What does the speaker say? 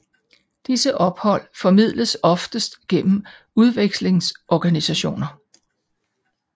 Disse ophold formidles oftest gennem udvekslingsorganisationer